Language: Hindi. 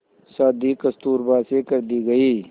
शादी कस्तूरबा से कर दी गई